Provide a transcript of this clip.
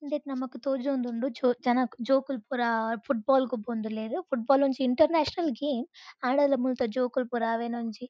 ಇಂದೆಟ್ ನಮಕ್ ತೋಜೊಂದುಂಡು ಜೋ ಜನಕು ಜೋಕುಲು ಪುರ ಫುಟ್ ಬಾಲ್ ಗೊಬ್ಬೊಂದುಲ್ಲೆರ್ ಫುಟ್ ಬಾಲ್ ಒಂಜಿ ಇಂಟರ್ ನ್ಯಾಷನಲ್ ಗೇಮ್ ಆಂಡಲ ಮುಲ್ತ ಜೋಕುಲು ಪುರ ಅವೆನ್ ಒಂಜಿ.